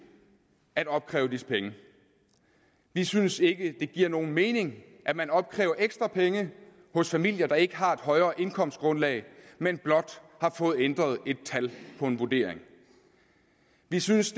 at opkræve disse penge vi synes ikke det giver nogen mening at man opkræver ekstra penge hos familier der ikke har et højere indkomstgrundlag men blot har fået ændret et tal på en vurdering vi synes